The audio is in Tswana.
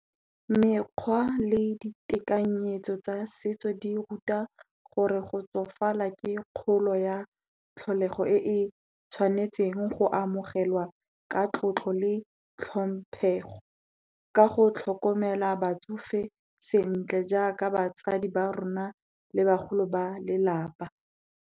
Mekgwa le ditekanyetso tsa setso di ruta gore go tsofala ke kgolo ya tlholego e e tshwanetseng go amogelwa ka tlotlo le hlomphego. Ka go tlhokomela batsofe sentle, jaaka batsadi ba rona le bagolo ba lelapa.